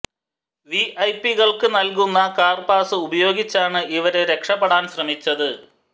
വിഐപികള്ക്കു നല്കുന്ന car pass ഉപയോഗിച്ചാണ് ഇവര് രക്ഷപെടാന് ശ്രമിച്ചത്